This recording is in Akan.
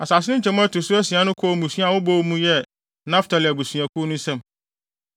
Asase no nkyemu a ɛto so asia no kɔɔ mmusua a wɔbɔ mu yɛ Naftali abusuakuw no nsam.